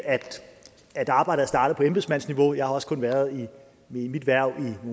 at arbejdet er startet på embedsmandsniveau jeg har også kun været i mit hverv i nogle